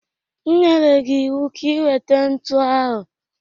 M nyere m gi iwu ka i weta ntụ ahụ!